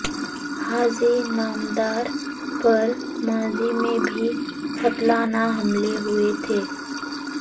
حاجی نامدار پر ماضی میں بھی قاتلانہ حملے ہوئے تھے